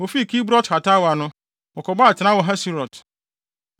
Wofii Kibrot-Hataawa no, wɔkɔbɔɔ atenae wɔ Haserot.